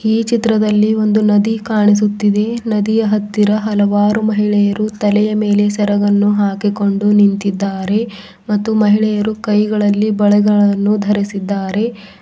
ಈ ಚಿತ್ರದಲ್ಲಿ ಒಂದು ನದಿ ಕಾಣಿಸುತ್ತಿದೆ ನದಿಯ ಹತ್ತಿರ ಹಲವಾರು ಮಹಿಳೆಯರು ತಲೆಯ ಮೇಲೆ ಸೇರಗನ್ನು ಹಾಕಿಕೊಂಡು ನಿಂತಿದ್ದಾರೆ ಮತ್ತು ಮಹಿಳೆಯರು ಕೈಗಳಲ್ಲಿ ಬಳೆಗಲನ್ನು ದರೆಸಿದ್ದಾರೆ.